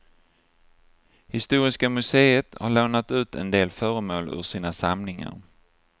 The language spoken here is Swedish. Historiska museet har lånat ut en del föremål ur sina samlingar.